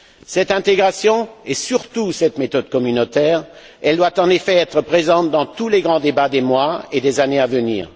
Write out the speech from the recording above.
Cette intégration, et surtout cette méthode communautaire, doit, en effet, être présente dans tous les grands débats des mois et des années à venir.